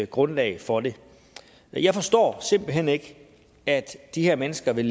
grundlag for det jeg forstår simpelt hen ikke at de her mennesker vil